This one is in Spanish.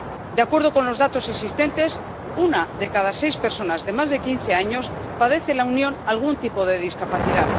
De acuerdo con los datos existentes, una de cada seis personas de más de quince años padece en la Unión algún tipo de discapacidad.